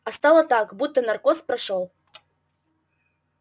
а стало так будто наркоз прошёл